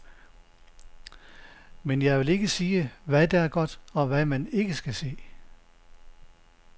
Men jeg vil ikke sige, hvad der er godt, og hvad man ikke skal se.